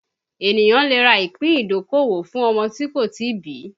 Ènìyàn lè rà ìpín ìdókòwò fún ọmọ tí kò tí ì bí